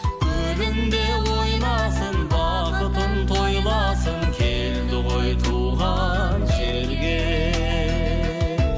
көліңде ойнасын бақытын тойласын келді ғой туған жерге